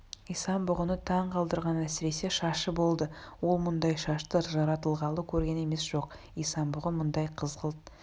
исан-бұғыны таң қалдырған әсіресе шашы болды ол мұндай шашты жаратылғалы көрген емес жоқ исан-бұғы мұндай қызғылт